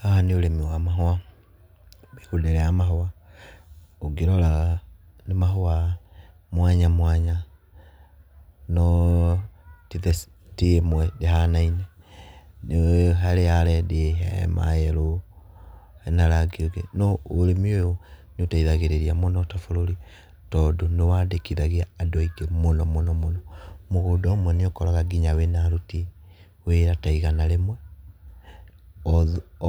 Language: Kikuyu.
Haha nĩ ũrĩmi wa mahũa, mĩgũnda ĩrĩa ya mahũa ũngĩrora nĩ mahũa mwanya mwanya no ti ĩmwe ndĩhanaine, nĩ harĩ ya rendi he ma yerũ hena rangi ũngĩ. No ũrĩmi ũyũ nĩ ũteithagĩrĩria muno ta bũrũri tondũ nĩ wandĩkithagia andũ aingĩ mũno mũno mũno. Mũgũnda ũmwe nĩ ũkoraga nginya wĩna aruti wĩra ta igana rĩmwe.